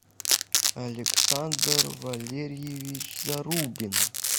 александр валерьевич зарубин